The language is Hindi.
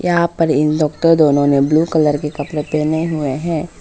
यहां पर इन डॉक्टर दोनों ने ब्लू कलर के कपड़े पहने हुए हैं।